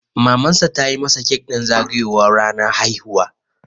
Mamansa ta yi masa kek ɗin zagayowar ranar haihuwa.